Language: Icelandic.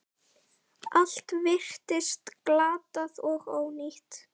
Þessar ferðir lýstu þér vel.